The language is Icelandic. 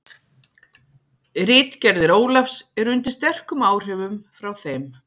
Ritgerðir Ólafs eru undir sterkum áhrifum frá þeim.